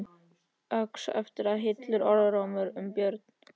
Óx eftir það illur orðrómur um Björn.